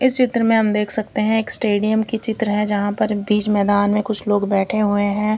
इस चित्र में हम देख सकते हैं एक स्टेडियम के चित्र है यहां पर बीच मैदान में कुछ लोग बैठे हुए हैं।